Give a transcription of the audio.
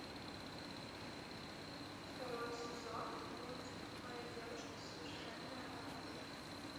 второй сезон мультик моя девушка совершенное оружие